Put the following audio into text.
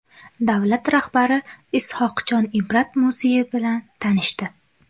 Davlat rahbari Is’hoqxon Ibrat muzeyi bilan tanishdi.